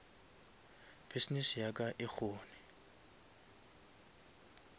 business ya ka e kgone